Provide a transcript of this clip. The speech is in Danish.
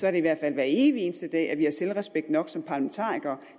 er det i hvert fald hver evig eneste dag at vi har selvrespekt nok som parlamentarikere